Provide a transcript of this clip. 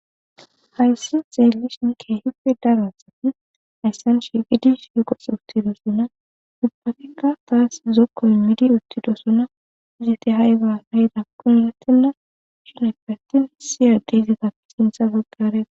Hayssan xelishin kehippe daro asay hayssan shiqqi uttdosona bagas zoko immidi uttidosona istti ayiba othizzan erretena gidoppe atin siyetebi basintibe sintha bagara.